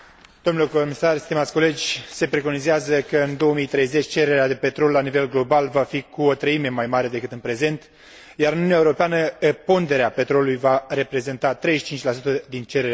Se preconizează că în 2030 cererea de petrol la nivel global va fi cu o treime mai mare decât în prezent, iar în Uniunea Europeană ponderea petrolului va reprezenta 35 din cererea de energie primară.